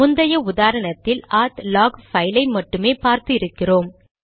முந்தைய உதாரணத்தில் நாம் ஆத் லாக் பைல் ஐ மட்டுமே பார்த்து இருக்கிறோம்